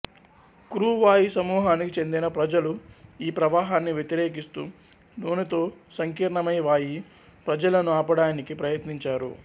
crew వాయి సమూహానికి చెందిన ప్రజలు ఈ ప్రవాహాన్ని వ్యతిరేకిస్తూ మానెతో సంకీర్ణమై వాయి ప్రజలను ఆపడానికి ప్రయత్నించారు